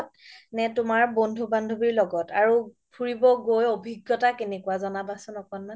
নে তুমাৰ বন্ধু বান্ধবিৰ লগত আৰু ফুৰিব গৈ অভিজ্ঞতা কেনেকুৱা য্নাবা চোন অকনমান